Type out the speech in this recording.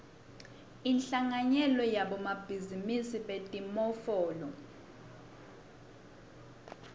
inhlanganyelo yabosomabhizinisi betimofolo